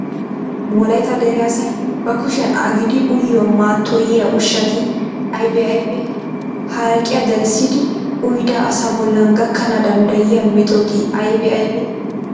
Wolaytta dere asay ba kushiyan agidi uyiyo mattoyiya ushshati aybee aybee? Haraqiya darissidi uyida asa bollan gakkana danddayiya metoti aybee aybee?